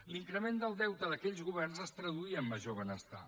l’increment del deute d’aquells governs es traduïa en major benestar